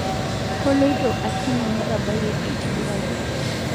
Koloito akini netabayie aitibiraki